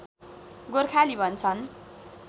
गोर्खाली भन्छन्